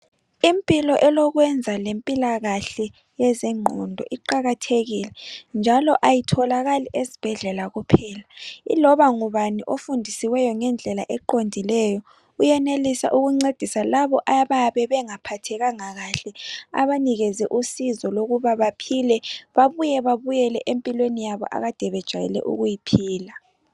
Impilo elokwenza lempilakahle yezengqondo iqakathekile njalo ayitholakali esibhedlela kuphela iloba ngubani ofundisiweyo ngendlela eqondileyo uyenelisa ukuncedisa labo ababe bengaphathekanga kahle abanikeze usizo lokuba baphile babuye babuyele empilweni yabo ade bejayele ukuyiphila.